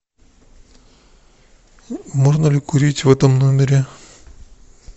можно ли курить в этом номере